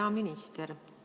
Hea minister!